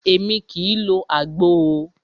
Émi kìí lo àgbo o.